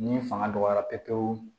Ni fanga dɔgɔyara pewu pewu